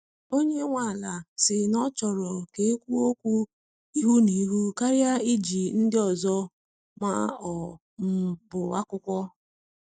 Onye nwe ala si na ọ chọrọ ka ekwuo okwu ihu na ihu karịa iji ndị ọzọ ma ọ um bụ akwụkwọ.